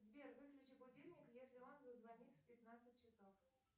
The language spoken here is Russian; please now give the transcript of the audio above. сбер выключи будильник если он зазвонит в пятнадцать часов